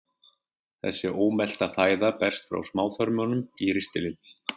Þessi ómelta fæða berst frá smáþörmum í ristilinn.